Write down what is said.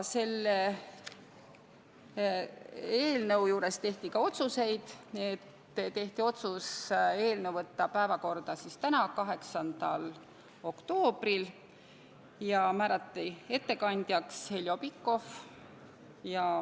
Arutelul tehti ka otsuseid: tehti otsus saata eelnõu päevakorda tänaseks, 8. oktoobriks ja määrata ettekandjaks Heljo Pikhof.